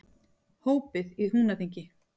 Hópið í Húnaþingi.